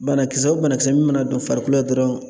Banakisɛ o banakisɛ min mana don farikolo la dɔrɔn